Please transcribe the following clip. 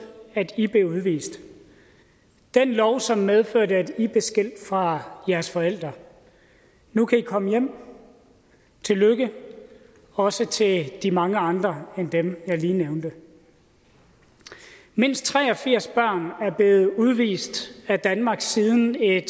at i blev udvist den lov som medførte at i blev skilt fra jeres forældre nu kan i komme hjem tillykke også til de mange andre end dem jeg lige nævnte mindst tre og firs børn er blevet udvist af danmark siden et